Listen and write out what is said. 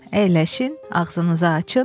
Əyləşin, ağzınızı açın.